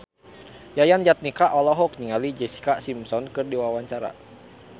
Yayan Jatnika olohok ningali Jessica Simpson keur diwawancara